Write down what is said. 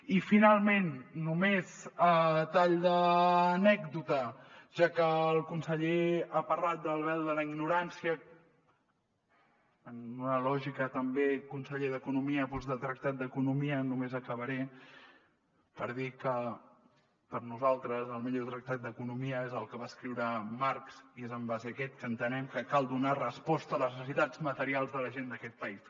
i finalment només a tall d’anècdota ja que el conseller ha parlat del vel de la ignorància en una lògica també conseller d’economia de tractat d’economia només acabaré per dir que per nosaltres el millor tractat d’economia és el que va escriure marx i és en base a aquest que entenem que cal donar resposta a les necessitats materials de la gent d’aquest país